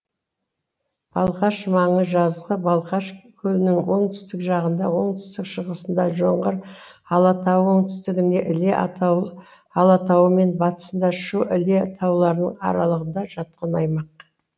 балқаш маңы жазығы балқаш көлінің оңтүстік жағында оңтүстік шығысында жоңғар алатауы оңтүстігінде іле алатауы мен батысында шу іле тауларының аралығында жатқан аймақ